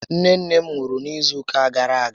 Nné nné m nwụrụ n'izu ụka gàrà aga